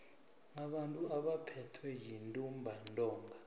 abantu abaphethwe yintumbantonga